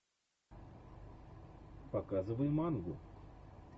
показывай мангу